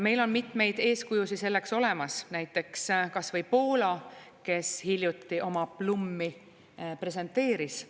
Meil on mitmeid eeskujusid selleks olemas, näiteks kas või Poola, kes hiljuti oma PLLuM-i presenteeris.